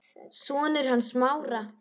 Sonur hans Smára.